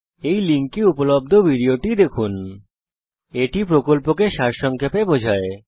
এই লিঙ্কে উপলব্ধ ভিডিওটি দেখুন httpspoken tutorialorgWhat is a Spoken Tutorial এটি প্রকল্পকে সংক্ষেপে বিবরণ করে